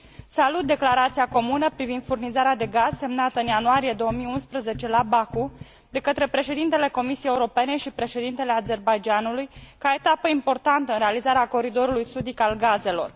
Salut declarația comună privind furnizarea de gaz semnată în ianuarie 2011 la Baku de către președintele Comisiei Europene și președintele Azerbaidjanului ca etapă importantă în realizarea coridorului sudic al gazelor.